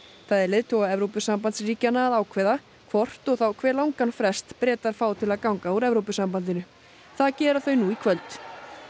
það er leiðtoga Evrópusambandsríkjanna að ákveða hvort og þá hve langan frest Bretar fá til að ganga úr Evrópusambandinu það gera þau nú í kvöld